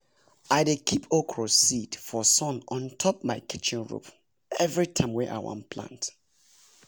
i dey keep okra seed for sun on top my kitchen roof every time wey i wan plant